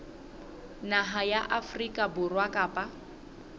naha ya afrika borwa kapa